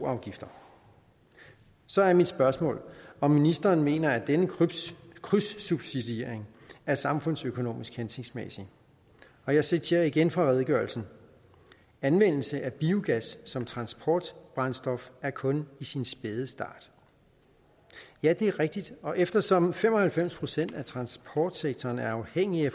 afgifter så er mit spørgsmål om ministeren mener at denne krydssubsidiering er samfundsøkonomisk hensigtsmæssig og jeg citerer igen fra redegørelsen anvendelse af biogas som transportbrændstof er kun i sin spæde start ja det er rigtigt og eftersom fem og halvfems procent af transportsektoren er afhængige